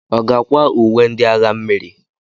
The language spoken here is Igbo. Ọ ga-akwa uwe ndị agha mmiri?